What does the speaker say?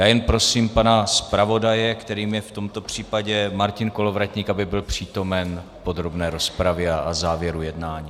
Já jen prosím pana zpravodaje, kterým je v tomto případě Martin Kolovratník, aby byl přítomen podrobné rozpravě a závěru jednání.